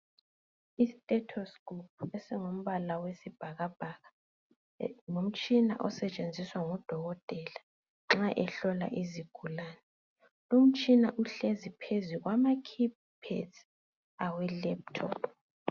Isthethoskophu esingumbala wesibhakabhaka ngumtshina osetshenziswa ngudokotela nxa ehlola izigulane lumtshina uhlezi phezu kwama khi-phedzi awe lephuthophu.